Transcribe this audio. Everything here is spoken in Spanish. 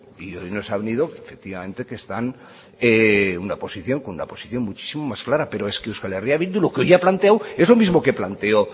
y hoy nos ha venido efectivamente que están con una posición muchísimo más clara pero es que euskal herria bildu lo que hoy ha planteado es lo mismo que planteó